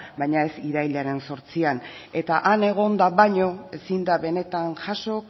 baina ez irailaren zortzian eta han egonda baino ezin da benetan jaso